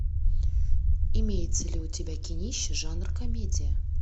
имеется ли у тебя кинище жанр комедия